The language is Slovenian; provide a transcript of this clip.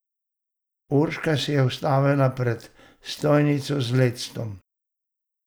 Urška se je ustavila pred stojnico z lectom.